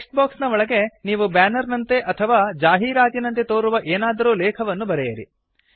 text box ನ ಒಳಗಡೆ ನೀವು ಬ್ಯಾನರ್ ನಂತೆ ಅಥವಾ ಜಾಹೀರಾತಿನಂತೆ ತೋರುವ ಏನಾದರೂ ಲೇಖವನ್ನು ಬರೆಯಿರಿ